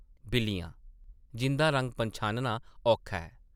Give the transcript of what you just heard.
बिल्लियां, जिंʼदा रंग पन्छानना औखा ऐ ।